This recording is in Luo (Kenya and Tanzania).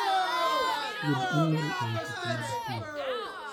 yud imel ewi seche mag tich.